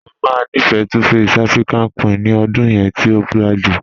Mọ máa nífẹ́ 2face African Queen ní ọ̀dún yẹn tí o jadẹ̀.